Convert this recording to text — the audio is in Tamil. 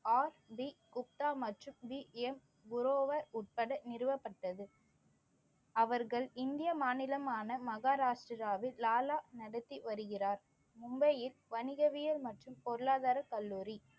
குப்தா மற்றும் உட்பட நிறுவப்பட்டது அவர்கள் இந்திய மாநிலமான மகாராஷ்டிராவில் லாலா நடத்தி வருகிறார் மும்பையில் வணிகவியல் மற்றும் பொருளாதாரக் கல்லூரி